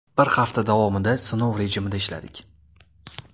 Bir hafta davomida sinov rejimida ishladik.